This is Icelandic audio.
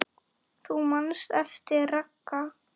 Þú manst eftir Ragga.